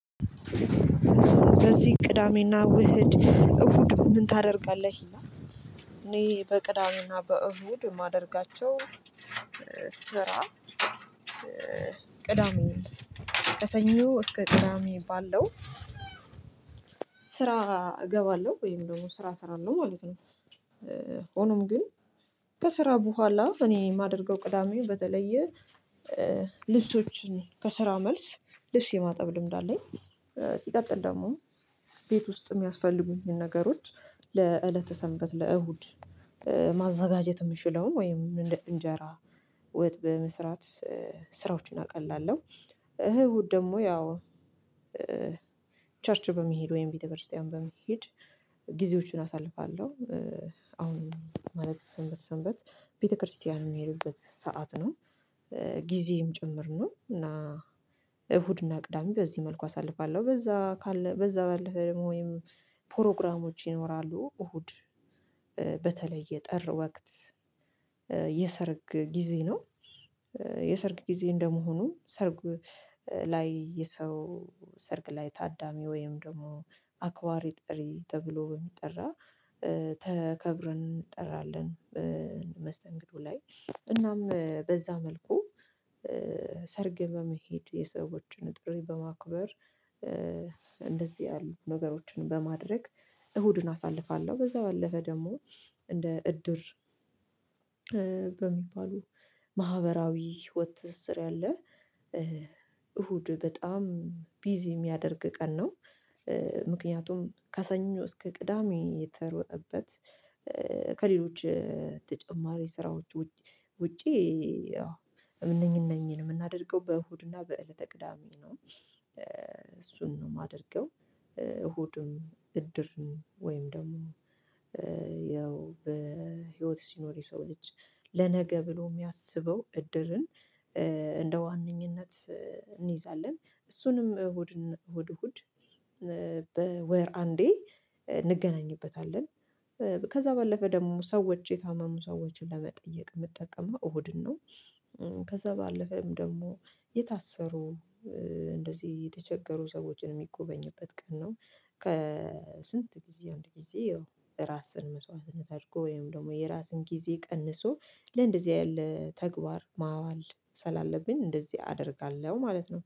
በዚህ ቅዳሜና ውህድ እሁድ ምን ታደርጋለህ? እኔ በቅዳሜና በእሁድ ማደርጋቸው ስራ ቅዳሜን ከሰኞ እስከ ቅዳሜ ባለው ስራ እገባለሁ ወይም ደግሞ ስራ እሰራለሁ ማለት ነው። ሆኖም ግን ከስራ በኋላ እኔ የማደርገው ቅዳሜ በተለየ ልብሶችን ከስራ መልስ ልብስ የማጠብ ልምድ አለኝ። ሲቀጥል ደግሞ ቤት ውስጥ የሚያስፈልጉኝን ነገሮች ለእለተ ሰንበት ለእሁድ ማዘጋጀት የምችለውን ወይም እንጀራ ወጥ በመስራት ስራዎችን አቀላለሁ እሁድ ደግሞ ያው ቸርች በመሄድ ወይም ቤተክርስቲያን በመሄድ ጊዜዎቹን አሳልፋለሁ። አሁን ማለት ሰንበት ሰንበት ቤተክርስቲያን የምሄድበት ሰዓት ነው። ጊዜም ጭምር ነው እና እሁድና ቅዳሜ በዚህ መልኩ አሳልፋለሁ በዛ ካለ በዛ ባለፈ ወይም ፕሮግራሞች ይኖራሉ። እሁድ በተለየ ጥር ወቅት የሰረግ ጊዜ ነው። የሰርግ ጊዜ እንደመሆኑም ሰርግ ላይ የሰው ሰርግ ላይ ታዳሚ ወይም ደግሞ አክባሪ ጥሪ ተብሎ በሚጠራ ተከብረን እንጠራለን። መስተንግዶ ላይ እናም በዛ መልኩ ሰርግ በመሄድ የሰዎችን ጥሪ በማክበር እንደዚህ ነገሮችን በማድረግ እሁድን አሳልፋለሁ። በዛ ባለፈ ደግሞ እንደ እድር በሚባሉ ማህበራዊ ህይወት ትስስር ያለ እሁድ በጣም ቢዚ የሚያደርግ ቀን ነው። ምክንያቱም ካሰኞ እስከ ቅዳሜ የተሮጠበት ከሌሎች ተጨማሪ ስራዎች ውጪ ውጪ እነኝን የምናደርገው በእሁድና በእለተ ቅዳሜ ነው እሱን ነው የማደርገው። እሁዱን እድርን ወይም ደግሞ ያው በህይወት ሲኖር የሰው ልጅ ለነገ ብሎ የሚያስበው እድርን እንደ ዋነኝነት እንይዛለን። እሱንም እሁድ እሁድ እሁድ በወር አንዴ እንገናኝበታለን። ከዛ ባለፈ ደግሞ ሰዎች የታመሙ ሰዎችን ለመጠየቅ የምጠቀመው እሁድን ነው። ከዛ ባለፈም ደግሞ የታሰሩ እንደዚህ የተቸገሩ ሰዎችን የሚጎበኝበት ቀን ነው። ከስንት ጊዜ አንድ ጊዜ ያው ራስን መስዋዕትነት አድርጎ ወይም ደግሞ የራስን ጊዜ ቀንሶ ለእንደዚህ ያለ ተግባር ማዋል ስላለብኝ እንደዚህ አደርጋለሁ ማለት ነው